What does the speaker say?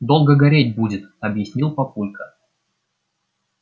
долго гореть будет объяснил папулька